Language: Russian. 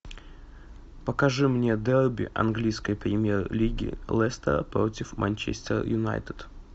покажи мне дерби английской премьер лиги лестер против манчестер юнайтед